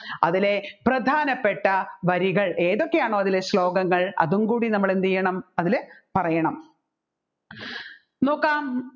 അതിലെ പ്രധാനപ്പെട്ട വരികൾ ഏതൊക്കെയാണോ അതിലെ ശ്ലോകങ്ങൾ അതുംകൂടി നമ്മൾ എന്ത് ചെയ്യണം അതിൽ പറയണം നോക്കാം